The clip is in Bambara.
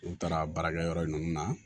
N'u taara baarakɛyɔrɔ ninnu na